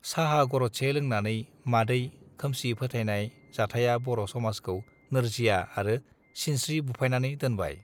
साहा गरदसे लोंनानै मादै खोमसि फोथायनाय जाथाया बर समाजखौ नोरजिया आरो सिनस्त्रि बुफायनानै दोनबाय